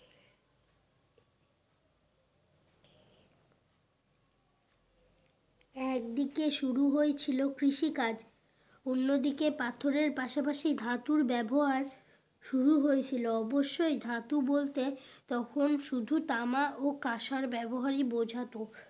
একদিকে শুরু হয়েছিল কৃষিকাজ অন্যদিকে পাথরের পাশাপাশি ধাতুর ব্যবহার শুরু হয়েছিল অবশ্যই ধাতু বলতে তখন শুধু তামা ও কাঁসার ব্যবহারই বোঝাতো